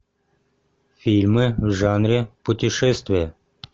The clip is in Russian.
фильмы в жанре путешествия